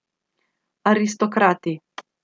Aristokrati.